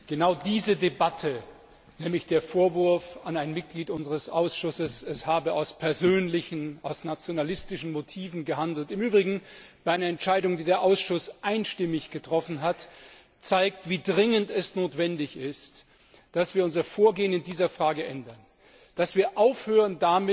Genau diese Debatte, nämlich der Vorwurf an ein Mitglied unseres Ausschusses, es habe aus persönlichen, aus nationalistischen Motiven gehandelt im Übrigen bei einer Entscheidung, die der Ausschuss einstimmig getroffen hat zeigt, wie dringend notwendig es ist, dass wir unser Vorgehen in dieser Frage ändern, dass wir aufhören,